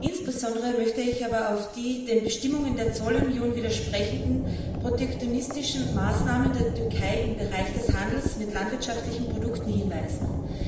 Insbesondere möchte ich aber auf die den Bestimmungen der Zollunion widersprechenden protektionistischen Maßnahmen der Türkei im Bereich des Handels mit landwirtschaftlichen Produkten hinweisen.